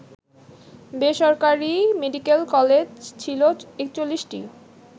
বেসরকারি medical college ছিল ৪১টি